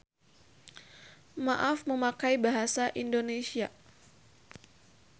Maaf memakai bahasa Indonesia.